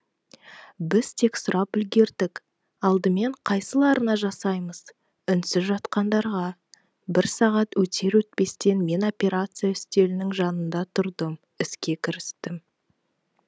біз тек сұрап үлгердік алдымен қайсыларына жасаймыз үнсіз жатқандарға бір сағат өтер өтпестен мен операция үстелінің жанында тұрдым іске кірістім